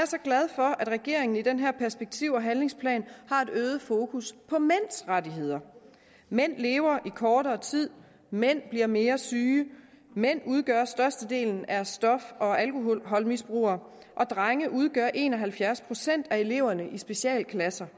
så glad for at regeringen i den her perspektiv og handlingsplan har et øget fokus på mænds rettigheder mænd lever i kortere tid mænd bliver mere syge mænd udgør størstedelen af stof og alkoholmisbrugere og drenge udgør en og halvfjerds procent af eleverne i specialklasser